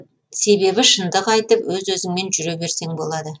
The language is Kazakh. себебі шыңдық айтып өз өзіңмен жүре берсең болады